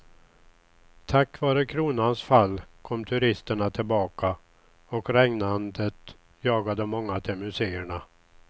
Tack vare kronans fall kom turisterna tillbaka och regnandet jagade många till museerna.